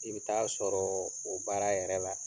I be taa a sɔrɔɔ o baara yɛrɛ la.